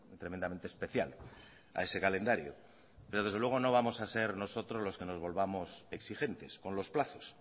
tremendamente especial a ese calendario pero desde luego no vamos a ser nosotros los que nos volvamos exigentes con los plazos